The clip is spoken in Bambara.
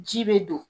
Ji bɛ don